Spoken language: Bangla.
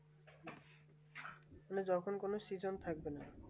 মানে যখন কোনো Season